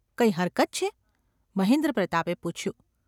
કઈ હરકત છે? ’ મહેન્દ્રપ્રતાપે પૂછ્યું.